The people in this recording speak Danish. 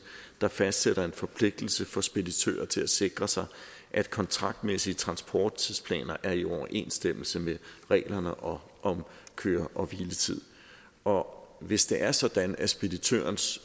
der fastsætter en forpligtelse for speditører til at sikre sig at kontraktmæssige transporttidsplaner er i overensstemmelse med reglerne om køre og hviletid og hvis det er sådan at speditørens